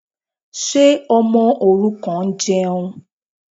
Ṣé ọmọ òrukàn ń jẹun?